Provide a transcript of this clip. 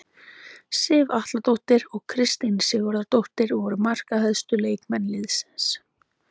Sif Atladóttir og Kristín Sigurðardóttir voru markahæstu leikmenn liðsins.